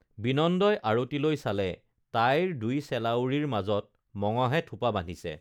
বিনন্দই আৰতিলৈ চালে তাইৰ দুই চেলাউৰিৰ মাজত মঙহে থোপা বান্ধিছে